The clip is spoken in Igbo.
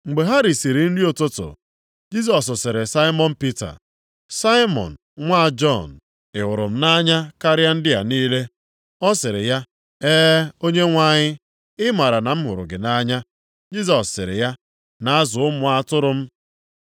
Mgbe ha risiri nri ụtụtụ, Jisọs sịrị Saimọn Pita, “Saimọn nwa Jọn, ị hụrụ m nʼanya karịa ndị a niile?” Ọ sịrị ya, “E, Onyenwe anyị, ị maara na m hụrụ gị nʼanya.” Jisọs sịrị ya, “Na-azụ ụmụ atụrụ m.”